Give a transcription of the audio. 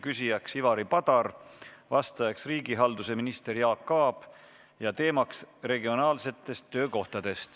Küsija on Ivari Padar, vastaja riigihalduse minister Jaak Aab, teemaks on regionaalsed töökohad.